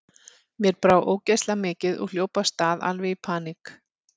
Mér brá ógeðslega mikið og hljóp af stað, alveg í paník.